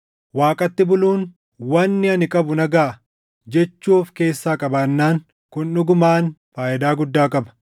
Waaqatti buluun, “Wanni ani qabu na gaʼa” jechuu of keessaa qabaannaan kun dhugumaan faayidaa guddaa qaba.